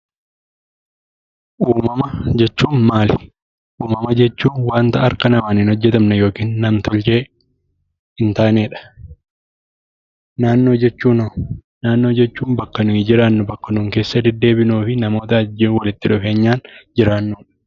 Uumamaa jechuun maali? Uumamaa jechuun wanta harkaa naman hn hojeetamne ykn nam-tolchee hin taanedha. Naannoo jechuuno? Naannoo jechuun bakka nutti jiraannu bakka nun keessa deddebinuufi namoota wajjin walitti dhufeenyaan jiraannudha.